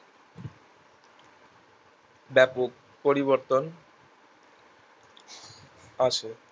ব্যাপক পরিবর্তন আসে